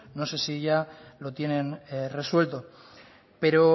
no sé si ya lo tienen resuelto pero